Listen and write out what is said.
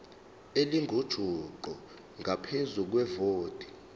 elingujuqu ngaphezu kwevoti